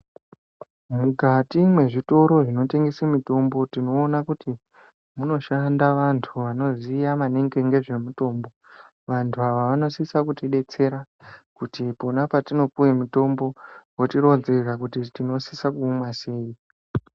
Mukati mwezvitoro zvinotengese mitombo tinoona kuti munoshanda vantu vanoziya maninge ngezvemitombo. Vantu ava vanosisa kutidetsera kuti pona petinopuwe mitombo votironzera kuti tinosisa kuumwa sei.